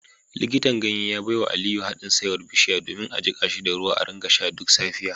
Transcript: Likitan ganye ya baiwa Aliyu hadin saiwar bishiya domin a jika shi da ruwa a rika sha duk safiya